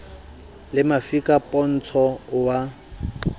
le mafika pontsho o a